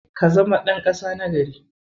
Ka zama ɗan ƙasa na gari.